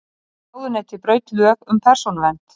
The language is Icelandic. Ráðuneyti braut lög um persónuvernd